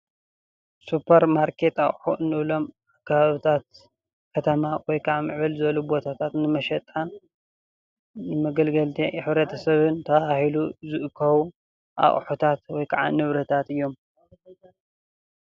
ሱፐርማርኬት ኣቑሑ እንብሎም ከባብታት ከተማ ወይ ከዓ ምዕብል ዝበሉ ቦታታት ንመሸጣን መገልገልቲ ሕ/ሰብን ተባሂሉ ዝእከቡ ኣቑሕታት ወይ ከዓ ንብረታት እዮም፡፡